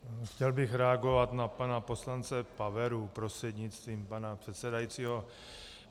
Chtěl bych reagovat na pana poslance Paveru prostřednictvím pana předsedajícího.